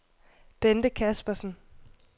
Bente Kaspersen